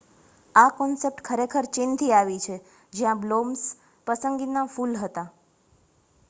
આ કોન્સૈપ્ટ ખરેખર ચીનથી આવી છે જ્યાં પ્લમ બ્લોસમ્સ પસંદગીના ફૂલ હતા